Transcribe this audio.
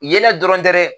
Yeelen dɔrɔn tɛ dɛ